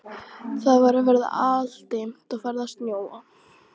Það var að verða aldimmt og farið að snjóa.